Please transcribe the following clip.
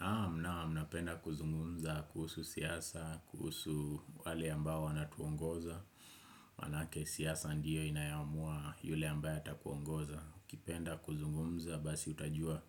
Naam, naam, napenda kuzungumza kuhusu siasa, kuhusu wale ambao wanatuongoza manake siasa ndiyo inayoamua yule ambaye atakuongoza ukipenda kuzungumza basi utajua